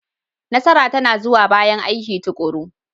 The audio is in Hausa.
Nasara tana zuwa bayan aiki tuƙuru.